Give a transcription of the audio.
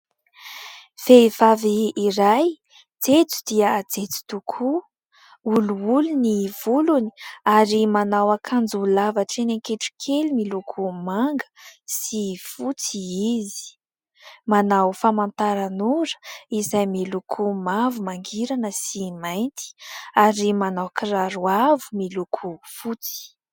Vehivavy iray jejo dia jejo tokoa. Olioly ny volony ary manao akanjo lava hatreny an-kitrokely miloko manga sy fotsy izy. Manao famantaranora izay miloko mavo mangirana sy mainty ary manao kiraro avo miloko fotsy.